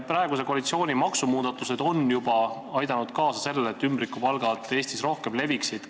Praeguse koalitsiooni maksumuudatused on juba aidanud kaasa sellele, et ümbrikupalgad Eestis rohkem leviksid.